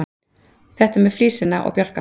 Þetta með flísina og bjálkann.